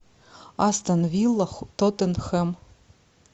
астон вилла тоттенхэм